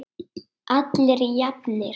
Allir jafnir.